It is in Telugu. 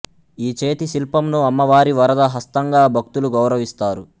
ఈ చేతి శిల్పంను అమ్మవారి వరద హస్తంగా భక్తులు గౌరవిస్తారు